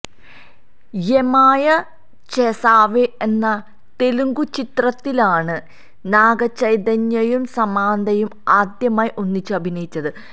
യെമായ ചേസാവെ എന്ന തെലുങ്കു ചിത്രത്തിലാണ് നാഗചൈതന്യയും സമാന്തയും ആദ്യമായി ഒന്നിച്ച് അഭിനയിച്ചത്